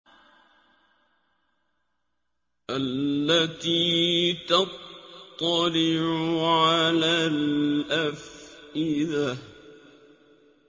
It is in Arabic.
الَّتِي تَطَّلِعُ عَلَى الْأَفْئِدَةِ